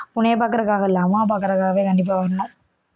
உன்னைய பாக்கறதுக்காக இல்ல அம்மாவை பாக்கறதுக்காகவே கண்டிப்பா வரணும்